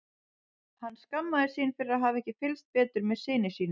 Hann skammaðist sín fyrir að hafa ekki fylgst betur með syni sínum.